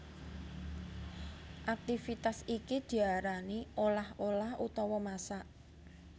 Aktivitas iki diarani olah olah utawa masak